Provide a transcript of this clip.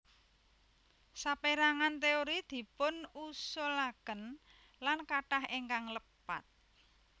Sapérangan téori dipunusulaken lan kathah ingkang lepat